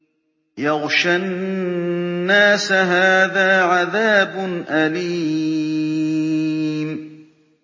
يَغْشَى النَّاسَ ۖ هَٰذَا عَذَابٌ أَلِيمٌ